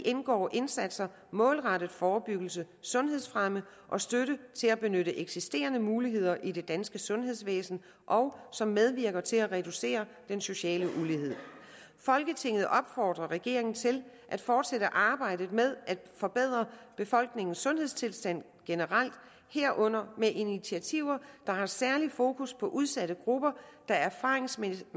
indgår indsatser målrettet forebyggelse sundhedsfremme og støtte til at benytte eksisterende muligheder i det danske sundhedsvæsen og som medvirker til at reducere den sociale ulighed folketinget opfordrer regeringen til at fortsætte arbejdet med at forbedre befolkningens sundhedstilstand generelt herunder med initiativer der har særligt fokus på udsatte grupper der erfaringsmæssigt